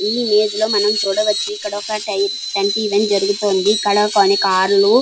ఈ ఇమేజ్ మనం చూడవచ్చు ఇక్కడ ఒక టెన్ టెంట్ ఈవెంట్ జరుగుతుంది కొన్ని కారులు --